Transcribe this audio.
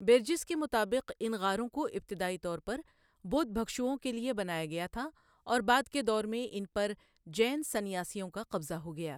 Bridges کے مطابق ان غاروں کو ابتدائی طور پر بدھ بھکشوں کے لیے بنایا گیا تھا اور بعد کے دور میں ان پر جین سنیاسیوں کا قبضہ ہو گیا۔